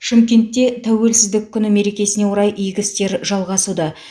шымкентте тәуелсіздік күні мерекесіне орай игі істер жалғасуда